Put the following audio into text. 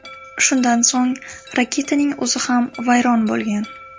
Shundan so‘ng raketaning o‘zi ham vayron bo‘lgan.